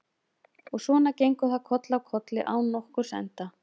Og svona gengur það koll af kolli án nokkurs enda.